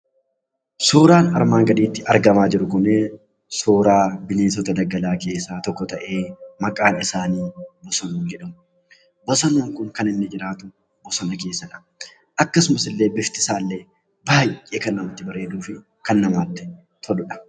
Suuraan armaan gaditti argamaa jiru kun, suuraa bineensota daggalaa keessaa tokko ta'ee maqaan isaanii bosonuu jedhama. Bosonuun kun kan inni jiraatu bosona keessadha. Akkasumas illee bifti isaa baay'ee kan namatti bareeduu fi kan namatti toluudha.